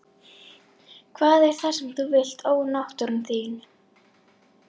Hvað er það sem þú vilt ónáttúran þín?